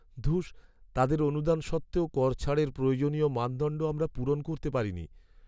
ধুস, তাঁদের অনুদান সত্ত্বেও কর ছাড়ের প্রয়োজনীয় মানদণ্ড আমরা পূরণ করতে পারিনি।